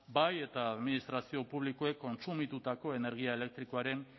bai eta administrazio publikoek kontsumitutako energia elektrikoaren